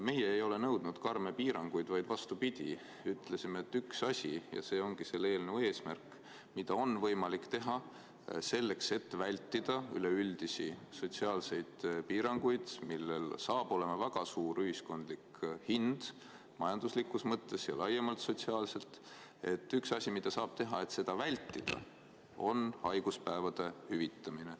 Meie ei ole nõudnud karme piiranguid, vaid vastupidi, ütlesime, et üks asi – ja see ongi selle eelnõu eesmärk –, mida on võimalik teha selleks, et vältida üleüldisi sotsiaalseid piiranguid, millel saab olema väga suur ühiskondlik hind majanduslikus mõttes ja laiemalt sotsiaalselt, on haiguspäevade hüvitamine.